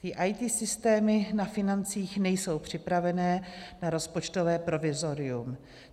Ty IT systémy na financích nejsou připravené na rozpočtové provizorium.